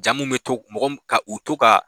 Ja mun bɛ to mɔgɔ ka u to ka